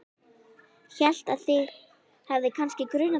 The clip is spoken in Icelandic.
Hélt að þig hefði kannski grunað þetta.